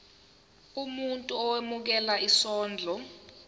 umuntu owemukela isondlo